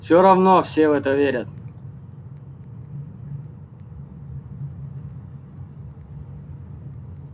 все равно все в это верят